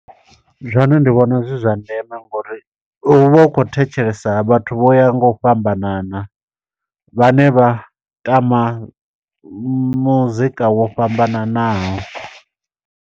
Zwone ndi vhona zwi zwa ndeme ngo uri, hu vha hu khou thetshelesa vhathu vho ya nga u fhambanana, vhane vha tama muzika wo fhambananaho.